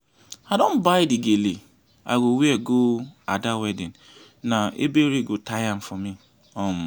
i don buy the gele i go wear go ada wedding na ebere go tie am for me um